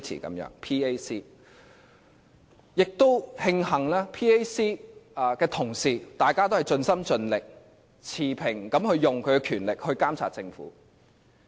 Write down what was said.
我也慶幸 PAC 的同事都盡心盡力、持平的行使他們的權力監察政府。